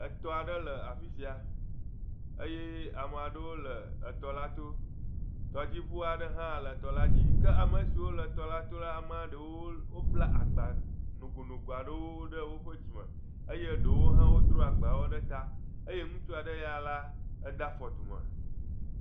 Etɔ aɖe le afi sia eye ame aɖewo le etɔla to. Tɔdziŋu aɖe hã le tɔla dzi. kea me siwo le tɔla to la amea ɖewo bla agba nogonogo aɖewo ɖe woƒe dzime eye ɖewo hã wodro agbawo ɖe ta. Eye ŋutsu aɖe ya la ede afɔ dume.